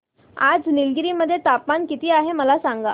आज निलगिरी मध्ये तापमान किती आहे मला सांगा